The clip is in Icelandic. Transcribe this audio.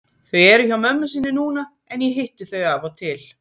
Þau eru hjá mömmu sinni núna en ég hitti þau af og til.